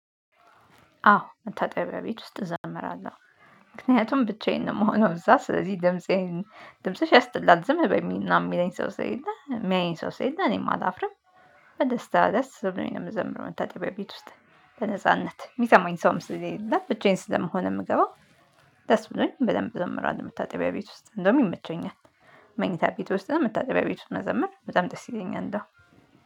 አዎ መታጠቢያ ቤት ውስጥ እዘምራለሁ ምክንያቱም ብቻዬን ነው የምሆነው እዛ ስለዚህ ድምፄን ድምፅሽ ያስጠላል ዝም በይ ሚል ምናምን ሚለኝ ሰው ስሌለለ ሚያየኝ ሰው ስሌለለ እኔም አላፍርም በደስታ ደስ ብሎኝ ነው የምዘምረው። መታጠቢያ ቤት ውስጥ በነጻነት የሚሰማኝ ሰውም ስለሌለ ብቻዬን ስለመሆን የምገባው ደስ ብሎኝ በደንብ ዘመራለሁ። መታጠቢያ ቤት ውስጥ እንደውም ይመቸኛል። መኝታ ቤት ውስጥ መታጠቢያ ቤት ውስጥ መዘመር በደንብ ደስ ይለኛል እንደው